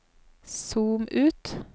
zoom ut